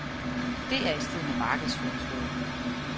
Det er i strid med markedsføringsloven.